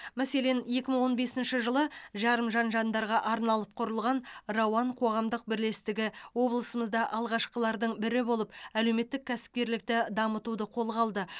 мәселен екі мың он бесінші жылы жарымжан жандарға арналып құрылған рауан қоғамдық бірлестігі облысымызда алғашқылардың бірі болып әлеуметтік кәсіпкерлікті дамытуды қолға алды